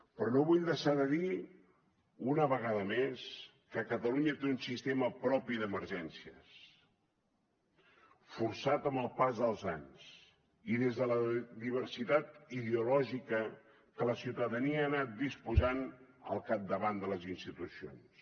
però no vull deixar de dir una vegada més que catalunya té un sistema propi d’emergències forjat amb el pas dels anys i des de la diversitat ideològica que la ciutadania ha anat disposant al capdavant de les institucions